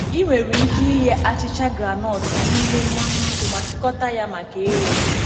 Ị nwere ike ighe achicha groundnut n’ime mmanụ ọkụ ma chịkọta ya maka ire.